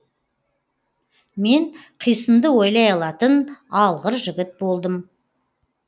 мен қисынды ойлай алатын алғыр жігіт болдым